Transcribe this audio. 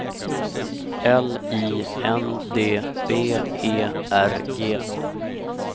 L I N D B E R G